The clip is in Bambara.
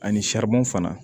Ani fana